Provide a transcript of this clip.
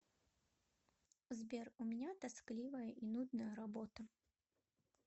сбер у меня тоскливая и нудная работа